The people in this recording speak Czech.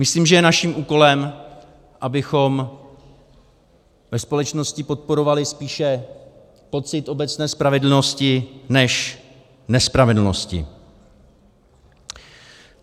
Myslím, že je naším úkolem, abychom ve společnosti podporovali spíše pocit obecné spravedlnosti než nespravedlnosti.